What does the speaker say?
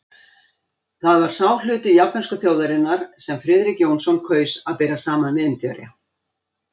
Það var sá hluti japönsku þjóðarinnar, sem Friðrik Jónsson kaus að bera saman við Indverja.